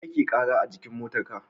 Mene yake kara a jikin motar ka?